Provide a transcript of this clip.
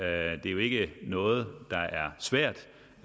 er jo ikke noget der er svært